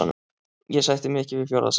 Ég sætti mig ekki við fjórða sætið.